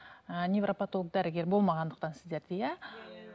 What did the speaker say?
ііі невропотолог дәрігер болмағандықтан сіздерде иә